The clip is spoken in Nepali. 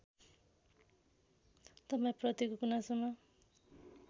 तपाईँ प्रतिको गुनासोमा